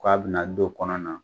K'a be na don kɔnɔna.